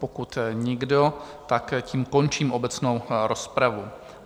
Pokud nikdo, tak tím končím obecnou rozpravu.